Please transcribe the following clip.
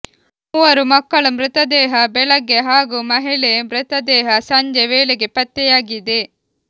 ಮೂವರು ಮಕ್ಕಳ ಮೃತದೇಹ ಬೆಳಗ್ಗೆ ಹಾಗೂ ಮಹಿಳೆ ಮೃತದೇಹ ಸಂಜೆ ವೇಳೆಗೆ ಪತ್ತೆಯಾಗಿದೆ